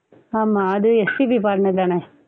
ஆமாம் அது SPB பாடனதுதான?